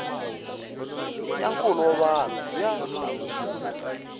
ya nkulo wa vanhu ya